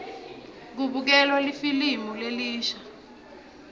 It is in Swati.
kubukelwa lifilimu lelisha